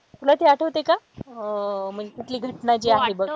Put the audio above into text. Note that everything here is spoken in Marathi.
तुला ते आठवते का अह म्हणजे कुठली घटना जी आहे बघ,